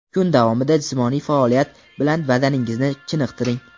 Kun davomida jismoniy faoliyat bilan badaningizni chiniqtiring;.